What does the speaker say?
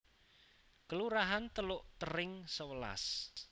Kelurahan Teluk Tering sewelas